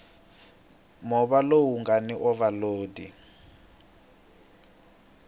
movha lowu nga ni ovhalodi